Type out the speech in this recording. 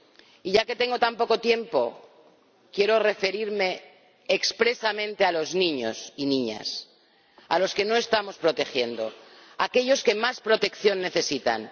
Y ya que tengo tan poco tiempo, quiero referirme expresamente a los niños y niñas, a los que no estamos protegiendo, a aquellos que más protección necesitan.